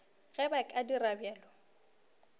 ge ba ka dira bjalo